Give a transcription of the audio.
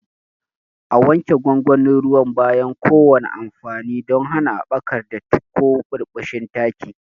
A wanke gwangwanin ruwan bayan kowane amfani don hana haɓakar datti ko birbishin taki.